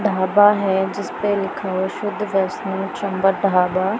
ढाबा है जिसपे लिखा हुआ शुद्ध वैष्णो शंबर ढाबा।